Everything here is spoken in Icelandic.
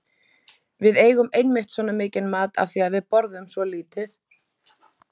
Við eigum einmitt svona mikinn mat af því að við borðum svo lítið.